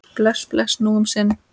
Bless, bless, nú um sinn.